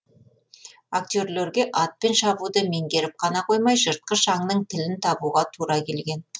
актерлерге атпен шабуды меңгеріп қана қоймай жыртқыш аңның тілін табуға тура келген